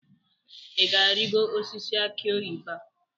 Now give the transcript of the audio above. ị ga-arịgo osisi akị oyibo a?